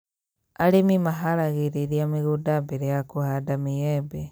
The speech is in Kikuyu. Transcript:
Arĩmi maharagĩrĩria mĩgũnda mbere ya Kũhanda mĩembe